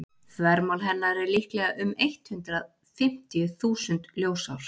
þvermál hennar er líklega um eitt hundruð fimmtíu þúsund ljósár